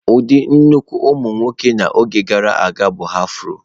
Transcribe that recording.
Ụdị nnukwu ụmụ nwoke n'oge gara aga bụ afro.